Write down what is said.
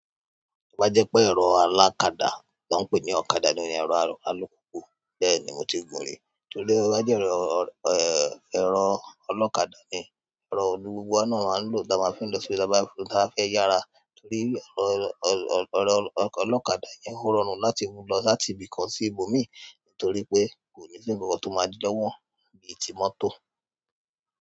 Tó ba jẹ́ pé ẹ̀rọ alákadà tí wọ́n ń pè ní ọ̀kadà ni ẹ̀rọ alùpùpù, bẹ́ẹ̀ni mo ti gùn-ún rí. Tó bá jẹ́ ẹ̀rọ, ẹ̀rọ ọlọ́kadà ni. Ẹ̀rọ yí ni gbogbo wa náà máa n lò tá ma fí n lọ sí bi ta bá fẹ́ yára torí ẹ̀rọ, ọlọ́kadà yẹn ó rọrùn láti mú lọ láti ibì kan sí ibòmíì, torí pé kò ní sí ǹkan kan tó máa di lọ́wọ́ bíi ti mọ́tò.